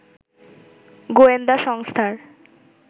গোয়েন্দা সংস্থার